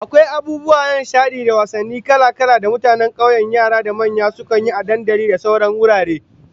Akwai abubuwa na nishadi da wasalli kala-kala da mutanen kauye yara da manya sukan yi a dandali da sauran wurare